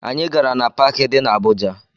Anyị gara na paakị dị na Abuja